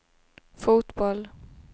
fotboll